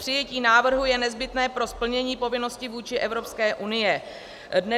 Přijetí návrhu je nezbytné pro splnění povinnosti vůči Evropské unii.